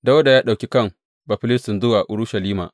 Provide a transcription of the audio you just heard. Dawuda ya ɗauki kan Bafilistin zuwa Urushalima.